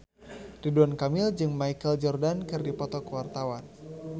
Ridwan Kamil jeung Michael Jordan keur dipoto ku wartawan